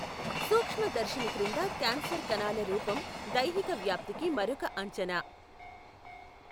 సూక్ష్మదర్శిని క్రింద క్యాన్సర్ కణాల రూపం దైహిక వ్యాప్తికి మరొక అంచనా.